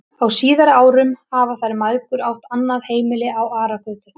Á síðari árum hafa þær mæðgur átt annað heimili á Aragötu.